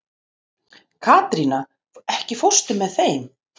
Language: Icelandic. Katrína, ekki fórstu með þeim?